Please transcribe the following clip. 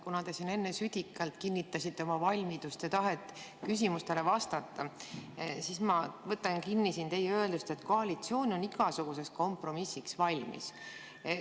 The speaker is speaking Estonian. Kuna te siin enne südikalt kinnitasite oma valmidust ja tahet küsimustele vastata, siis ma võtan kinni teie öeldust, et koalitsioon on igasuguseks kompromissiks valmis.